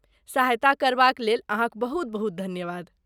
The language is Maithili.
सहायता करबाक लेल अहाँक बहुत बहुत धन्यवाद।